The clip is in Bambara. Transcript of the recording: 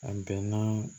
A bɛnna